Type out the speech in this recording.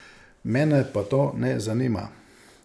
Mene pa to ne zanima.